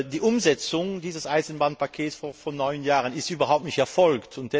Die Umsetzung dieses Eisenbahnpakets von vor neun Jahren ist überhaupt nicht erfolgt.